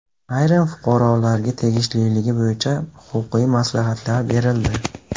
Ayrim fuqarolarga tegishliligi bo‘yicha huquqiy maslahatlar berildi.